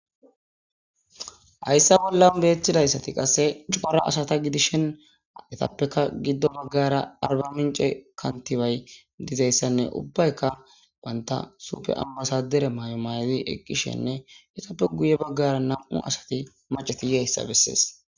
Hayssa bollan beeththidayssati qasse cora asata gidishen etappeka giddo baggara arba mince kantibay dizayssanne ubbaykka wanta supe ammasadere maayo may7di eqqishenne etappe guye baggara nam7u asati macetiyhayssa bessees.